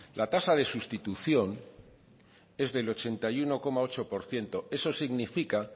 la tasa de sustitución es del ochenta y uno coma ocho por ciento eso significa